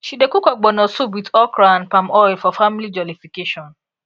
she dey cook ogbono soup with okra and palm oil for family jollification